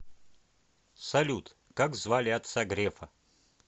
салют как звали отца грефа